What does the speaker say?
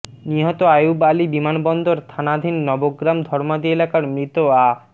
নিহত আইয়ুব আলী বিমানবন্দর থানাধীন নবগ্রাম ধর্মাদী এলাকার মৃত আ